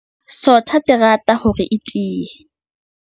Sotha terata hore e tiye.